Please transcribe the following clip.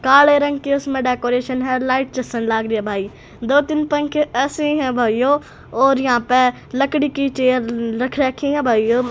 काले रंग की उसमें डेकोरेशन है लाइट चसन लाग रही है भाई दो तीन पंखे ऐसे हैं भाइयों और यहां पे लकड़ी की चेयर रख रखी है भाइयों।